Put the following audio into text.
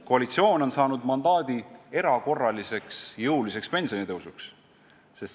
Koalitsioon on saanud mandaadi jõuliseks erakorraliseks pensionitõusuks.